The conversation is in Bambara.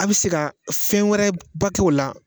A bi se ka fɛn wɛrɛ ba t'o la